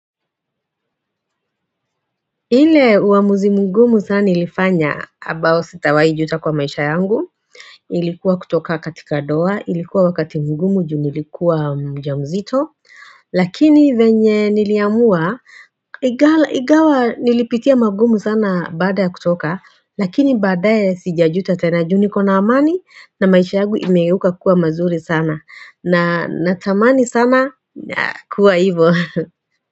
Ile uamuzi mgumu sana nilifanya abao sitawahi juta kwa maisha yangu Ilikuwa kutoka katika doa ilikuwa wakati mgumu juni ilikuwa mja mzito Lakini venye niliamua igawa nilipitia magumu sana baada ya kutoka lakini baada ya sijajuta tena juni kona amani na maisha yangu imeuka kuwa mazuri sana na natamani sana kuwa hivyo.